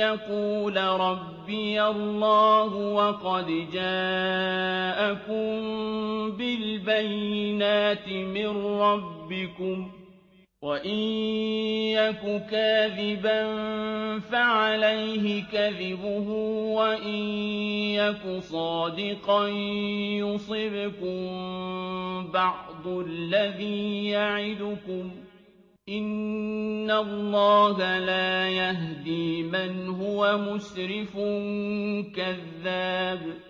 يَقُولَ رَبِّيَ اللَّهُ وَقَدْ جَاءَكُم بِالْبَيِّنَاتِ مِن رَّبِّكُمْ ۖ وَإِن يَكُ كَاذِبًا فَعَلَيْهِ كَذِبُهُ ۖ وَإِن يَكُ صَادِقًا يُصِبْكُم بَعْضُ الَّذِي يَعِدُكُمْ ۖ إِنَّ اللَّهَ لَا يَهْدِي مَنْ هُوَ مُسْرِفٌ كَذَّابٌ